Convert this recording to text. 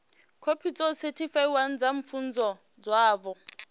khophi dzo sethifaiwaho dza pfunzo dzavho